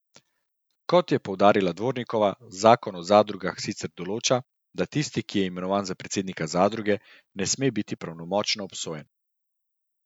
Kot je poudarila Dvornikova, zakon o zadrugah sicer določa, da tisti, ki je imenovan za predsednika zadruge, ne sme biti pravnomočno obsojen.